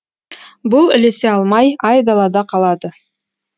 бұл ілесе алмай айдалада қалады